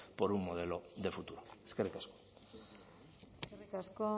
por un modelo de futuro eskerrik asko eskerrik asko